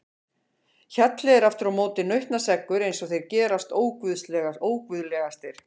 Hjalli er aftur á móti nautnaseggur eins og þeir gerast óguðlegastir.